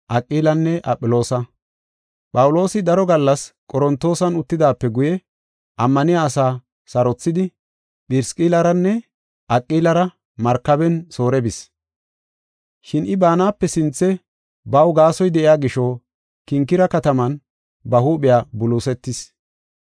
Phawuloosi daro gallas Qorontoosan uttidaape guye ammaniya asaa sarothidi, Phirisqilliranne Aqilara markaben Soore bis. Shin I baanape sinthe baw gasoy de7iya gisho Kinkire kataman ba huuphiya buluusetis.